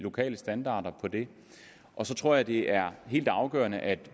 lokale standarder for det så tror jeg det er helt afgørende at